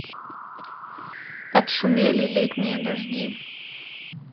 отшумели летние дожди